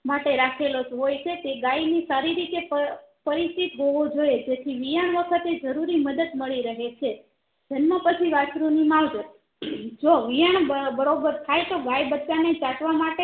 માટે રાખે લો હોય છે તે ગાયની સારી રીતે પરી પરિચિત હોવો જોઈએ જેથી વિયાણ વખતે જરૂરી મદદ મળી રહે છે જન્મ પછી વસ્ત્રુ ની માવજત જો વિયાણ બરોબર થયા તો ગાય બચ્ચાં ને ચાટવા માટે